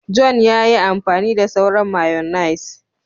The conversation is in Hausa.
John ya yi amfani da sauran " mayonnaise ".